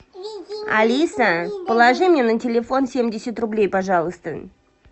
алиса положи мне на телефон семьдесят рублей пожалуйста